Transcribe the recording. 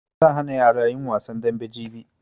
Zan hana yara yin wasan dambe jibi